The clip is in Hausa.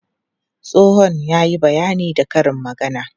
Tsohon ya yi bayani da karin magana.